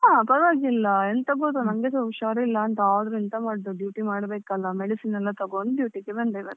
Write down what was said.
ಹಾ ಪರವಾಗಿಲ್ಲ ಎಂತ ನನ್ಗೆಸಾ ಹುಷಾರಿಲ್ಲ ಆದ್ರೂ ಎಂತ ಮಾಡುದು duty ಮಾಡ್ಲೇಬೇಕಲ್ಲ medicine ಎಲ್ಲ ತಗೊಂಡು duty ಗೆ ಬಂದೆ ಮತ್ತೆ.